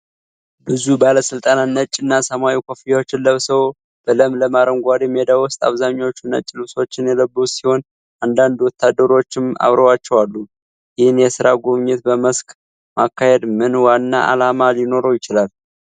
ብዙ ባለስልጣናት ነጭ እና ሰማያዊ ኮፍያዎችን ለብሰው በለምለም አረንጓዴ ሜዳ ውስጥ አብዛኞቹ ነጭ ልብሶችን የለበሱ ሲሆን አንዳንድ ወታደሮችም አብረዋቸው አሉ። ይህንን የሥራ ጉብኝት በመስክ ማካሄድ ምን ዋና ዓላማ ሊኖረው ይችላል?